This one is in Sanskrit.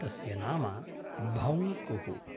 तस्य नाम भौंकुः।